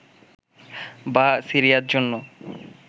বা সিরিয়ার জন্য